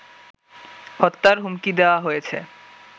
হত্যার হুমকি দেওয়া হয়েছে